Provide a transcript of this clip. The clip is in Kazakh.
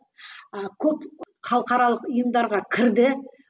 ы көп халықаралық ұйымдарға кірді